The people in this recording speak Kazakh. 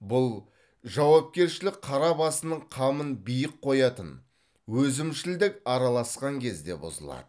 бұл жауапкершілік қара басының қамын биік қоятын өзімшілдік араласқан кезде бұзылады